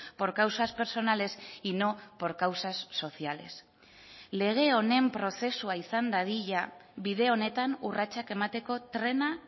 por causas personales y no por causas sociales lege honen prozesua izan dadila bide honetan urratsak emateko trena